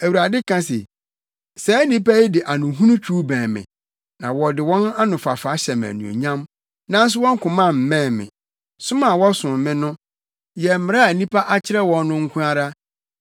Awurade ka se, “Saa nnipa yi de anohunu twiw bɛn me na wɔde wɔn anofafa hyɛ me anuonyam, nanso wɔn koma mmɛn me. Som a wɔsom me no yɛ mmara a nnipa akyerɛ wɔn no nko ara.